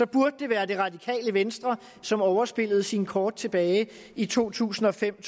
burde det være det radikale venstre som overspillede sine kort tilbage i to tusind og fem